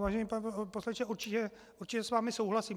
Vážený pane poslanče, určitě s vámi souhlasím.